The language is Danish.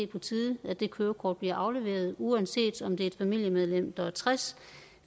på tide at det kørekort blev afleveret uanset om at det er et familiemedlem der er tres